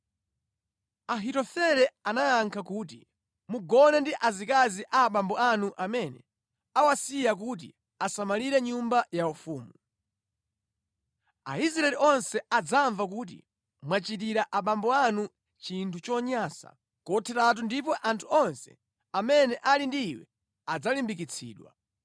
Ahitofele anayankha kuti, “Mugone ndi azikazi a abambo anu amene awasiya kuti asamalire nyumba yaufumu. Aisraeli onse adzamva kuti mwachitira abambo anu chinthu chonyansa kotheratu ndipo anthu onse amene ali ndi iwe adzalimbikitsidwa.”